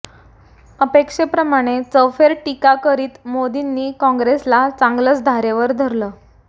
अपेक्षेप्रमाणे चौफर टीका करीत मोदींनी काँग्रेसला चांगलचं धारेवर धरलं